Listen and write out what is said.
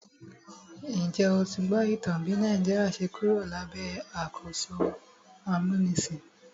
Njẹ́ o ti gbọ́ ìtàn bí Nàìjíríà ṣe Kúrò lábẹ́ àkóso amúnisìn?